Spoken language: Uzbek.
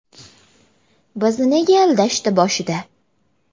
Bizni nega aldashdi boshida?